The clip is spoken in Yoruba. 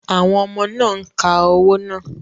Àwọn ọmọ náà ń ka owó náà.